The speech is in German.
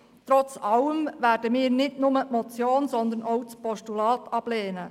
Trotz allem werden wir nicht nur die Motion, sondern auch das Postulat ablehnen.